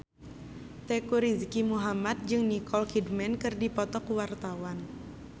Teuku Rizky Muhammad jeung Nicole Kidman keur dipoto ku wartawan